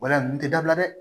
Wala nin tɛ dabila dɛ